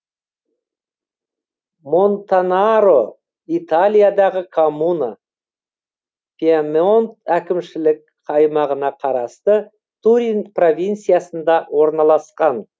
монтанаро италиядағы коммуна пьемонт әкімшілік аймағына қарасты турин провинциясында орналасқан